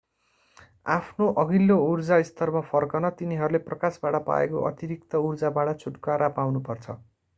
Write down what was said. आफ्नो अघिल्लो ऊर्जा स्तरमा फर्कन तिनीहरूले प्रकाशबाट पाएको अतिरिक्त ऊर्जाबाट छुटकारा पाउनु पर्छ